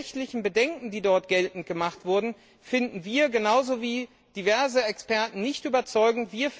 Die rechtlichen Bedenken, die dort geltend gemacht wurden, finden wir genauso wie diverse Experten nicht überzeugend.